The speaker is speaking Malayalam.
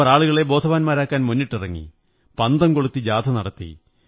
അവർ ആളുകളെ ബോധവാന്മാരാക്കാൻ മുന്നിട്ടിറങ്ങി പന്തംകൊളുത്തി ജാഥ നടത്തി